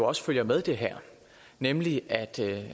også følger med det her nemlig at